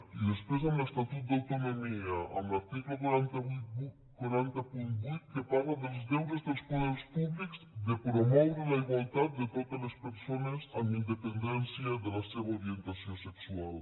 i després amb l’estatut d’autonomia amb l’article quatre cents i vuit que parla dels deures dels poders públics de promoure la igualtat de totes les persones amb independència de la seva orientació sexual